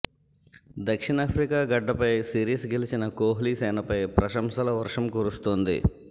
దక్షిణాఫ్రికా గడ్డపై సిరీస్ గెలిచిన కోహ్లీ సేనపై ప్రశంసల వర్షం కురుస్తోంది